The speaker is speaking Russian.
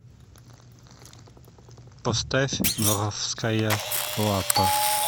поставь воровская лапа